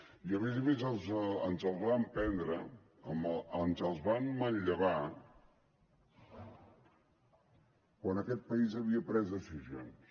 i a més a més ens els van prendre ens els van manllevar quan aquest país havia pres decisions